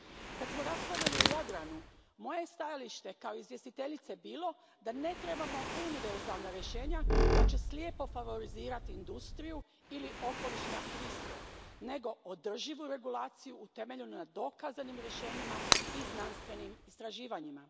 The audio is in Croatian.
Kad smo raspravljali o Jadranu, moje je stajalište kao izvjestiteljice bilo da ne trebamo univerzalna rješenja koja će slijepo favorizirati industriju ili okolišne aktiviste, nego održivu regulaciju utemeljenu na dokazanim rješenjima i znanstvenim istraživanjima.